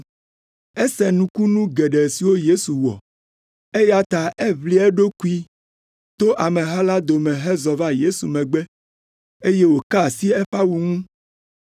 Ese nukunu geɖe siwo Yesu wɔ, eya ta eʋli eɖokui, to ameha la dome hezɔ va Yesu megbe, eye wòka asi eƒe awu ŋu,